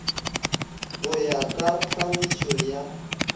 go ya ka tlhagišo ya